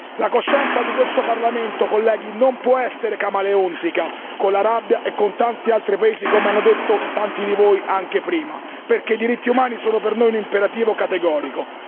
Cari colleghi, la coscienza di questo Parlamento non può essere camaleontica con l'Arabia e con tanti altri paesi, come hanno detto tanti di voi anche prima, perché i diritti umani sono per noi un imperativo categorico.